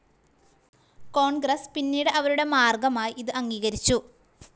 കോൺഗ്രസ്‌ പിന്നീട് അവരുടെ മാർഗ്ഗമായി ഇത് അംഗീകരിച്ചു.